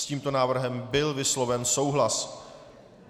S tímto návrhem byl vysloven souhlas.